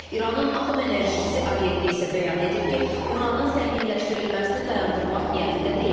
İranın Atom Enerjisi Agentliyi isə bəyan edib ki, uranın zənginləşdirilməsini dayandırmaq niyyətində deyil.